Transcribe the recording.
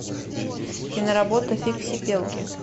киноработа фиксипелки